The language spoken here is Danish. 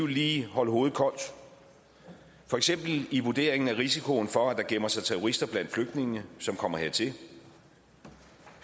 lige holde hovedet koldt for eksempel i vurderingen af risikoen for at der gemmer sig terrorister blandt flygtningene som kommer hertil vi